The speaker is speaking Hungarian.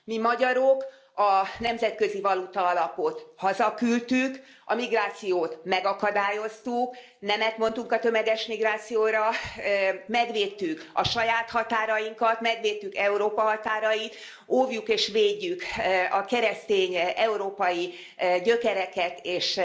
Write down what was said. Mi magyarok a Nemzetközi Valutaalapot hazaküldtük, a migrációt megakadályoztuk, nemet mondtunk a tömeges migrációra, megvédtük a saját határainkat, megvédtük Európa határait, óvjuk és védjük a keresztény európai gyökereket és